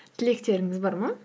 тілектеріңіз бар ма